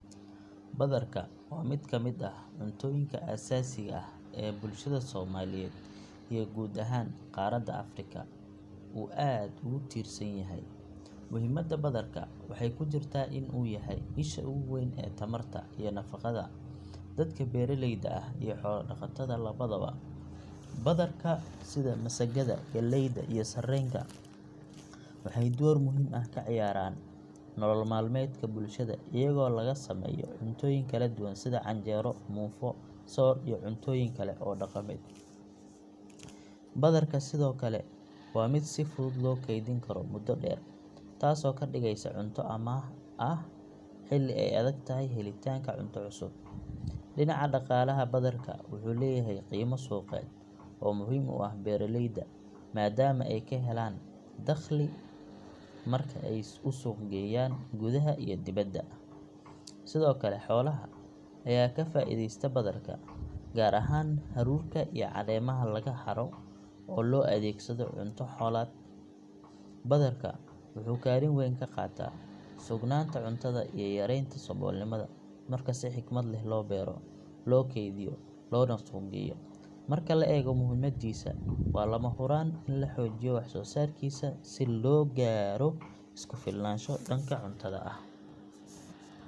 Badarka waa mid ka mid ah cuntooyinka aasaasiga ah ee bulshada Soomaaliyeed iyo guud ahaan qaaradda Afrika uu aad ugu tiirsan yahay. Muhiimadda badarka waxay ku jirtaa in uu yahay isha ugu weyn ee tamarta iyo nafaqada dadka beeralayda ah iyo xoolo dhaqatada labadaba. Badarka sida masagada, galleyda iyo sarreenka waxay door muhiim ah ka ciyaaraan nolol maalmeedka bulshada iyagoo laga sameeyo cuntooyin kala duwan sida canjeero, muufo, soor iyo cuntooyin kale oo dhaqameed. Badarka sidoo kale waa mid si fudud loo keydin karo muddo dheer taasoo ka dhigeysa cunto amaah ah xilli ay adagtahay helitaanka cunto cusub. Dhinaca dhaqaalaha badarka wuxuu leeyahay qiimo suuqeed oo muhiim u ah beeraleyda maadaama ay ka helaan dakhli marka ay u suuq geeyaan gudaha iyo dibadda. Sidoo kale xoolaha ayaa ka faa’iideysta badarka, gaar ahaan hadhuudhka iyo caleemaha laga haro oo loo adeegsado cunto xoolaad. Badarka wuxuu kaalin weyn ka qaataa sugnaanta cuntada iyo yareynta saboolnimada marka si xikmad leh loo beero, loo keydiyo, loona suuq geeyo. Marka la eego muhiimaddiisa, waa lama huraan in la xoojiyo wax soo saarkiisa si loo gaaro isku filnaasho dhanka cuntada ah.